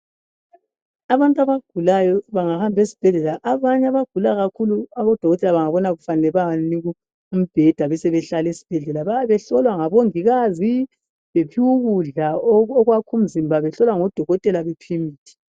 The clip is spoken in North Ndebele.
Abantu abagulayo bengahamba esibhedlela abanye abagula kakhulu bengabona kufanele bayabanika umbheda besebehlala esibhedlela behlolwa ngabo mongikazi bephiwa ukudla okwakha umzibha behlolwa ngodokotela bephemithi